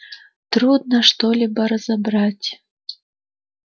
трудно что-либо разобрать